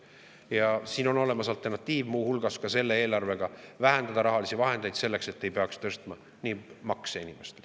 Ja siin on olemas alternatiiv, muu hulgas ka selle eelarve puhul: vähendada rahalisi vahendeid selleks, et ei peaks tõstma inimeste makse.